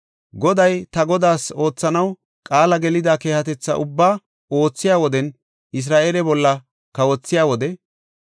Goday, ta godaas oothanaw qaala gelida keehatetha ubbaa oothiya wodenne Isra7eele bolla kawothiya wode,